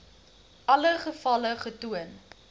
alle gevalle getoon